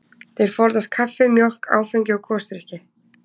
Þeir forðast kaffi, mjólk, áfengi og gosdrykki.